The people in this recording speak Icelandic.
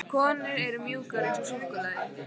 Konur eru mjúkar eins og súkkulaði.